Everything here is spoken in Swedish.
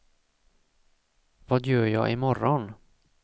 vad gör jag imorgon